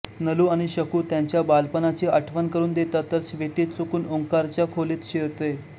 नलू आणि शकू त्यांच्या बालपणाची आठवण करून देतात तर स्वीटू चुकून ओंकारच्या खोलीत शिरते